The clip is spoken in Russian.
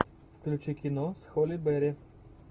включи кино с холли берри